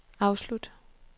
afslut